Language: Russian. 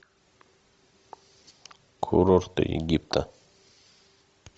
курорты египта